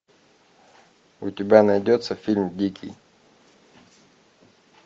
у тебя найдется фильм дикий